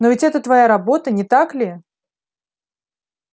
но ведь это твоя работа не так ли